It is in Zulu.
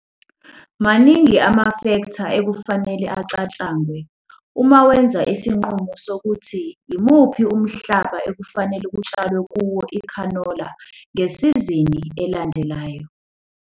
Maningi amafektha okufanele acatshangwe uma wenza isinqumo ngokuthi yimuphi umhlaba okufanele kutshalwe kuwo ikhanola ngesizini elandelayo.